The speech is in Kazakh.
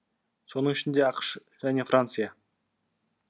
соның ішінде ақш және франция